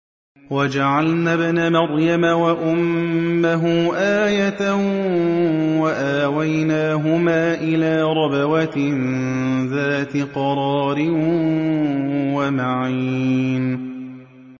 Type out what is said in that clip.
وَجَعَلْنَا ابْنَ مَرْيَمَ وَأُمَّهُ آيَةً وَآوَيْنَاهُمَا إِلَىٰ رَبْوَةٍ ذَاتِ قَرَارٍ وَمَعِينٍ